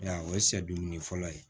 Ya o ye sɛ duuru ni fɔlɔ ye